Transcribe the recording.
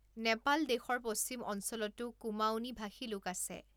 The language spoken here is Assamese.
নেপাল দেশৰ পশ্চিম অঞ্চলতো কুমাঊঁনী ভাষী লোক আছে।